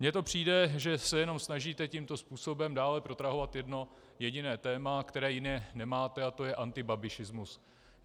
Mně to přijde, že se jenom snažíte tímto způsobem dále protrahovat jedno jediné téma, které jiné nemáte, a to je antibabišismus.